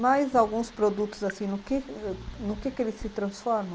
Mas alguns produtos, assim, no que no que eles se transformam?